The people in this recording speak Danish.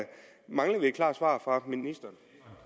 vi et klart svar fra ministeren